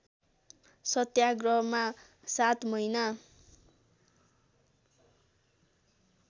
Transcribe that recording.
सत्याग्रहमा सात महिना